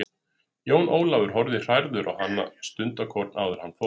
Jón Ólafur horfði hrærður á hana stundarkorn áður en hann fór.